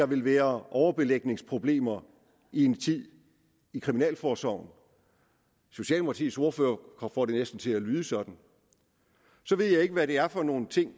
vil være overbelægningsproblemer i en tid i kriminalforsorgen socialdemokratiets ordfører får det næsten til at lyde sådan så ved jeg ikke hvad det er for nogle ting